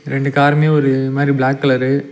ரெண்டு காருமே ஒரு மாரி ப்ளாக் கலரு .